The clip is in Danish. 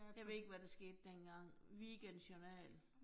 Jeg ved ikke, hvad der skete dengang. Weekendjournal